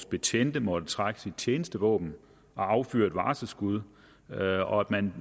betjent har måttet trække sit tjenestevåben og affyre et varselsskud og at man